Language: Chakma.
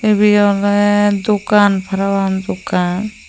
ibi oley dogan parapang dogan.